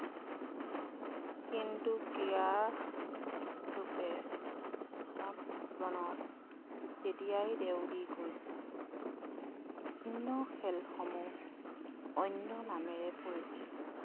কিন্তু ক্ৰীড়া মানব জীৱনত তেতিয়াই দেও দি গৈছিল বিভিন্ন খেল সমূহ অন্য নামেৰে পৰিচিত